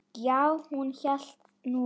Já, hún hélt nú það.